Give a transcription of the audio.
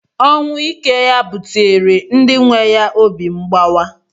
Ọnwụ ike ya buteere ndi nwe ya obi mgbawa.